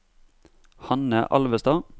Hanne Alvestad